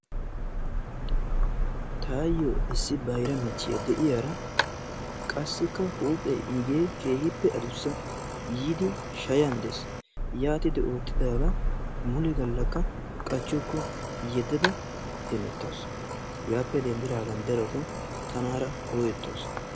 Taassi issi bayra michchiyaa de'iyaara qassika huuphphe iigee keehippe aduussa. yiidi shaayan dees. yaatidi oottidaaga mule gallaaka qaachuku yeddada hemeetawus. hegaappe denddigaan darotoo tanaara ooyettawus.